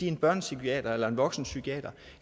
én børnepsykiater eller én voksenpsykiater